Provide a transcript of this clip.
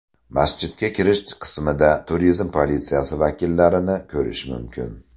Masjidga kirish qismida turizm politsiyasi vakillarini ko‘rish mumkin.